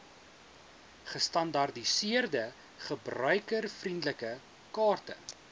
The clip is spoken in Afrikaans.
gestandaardiseerde gebruikervriendelike kaarte